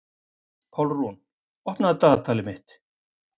Pálrún, opnaðu dagatalið mitt.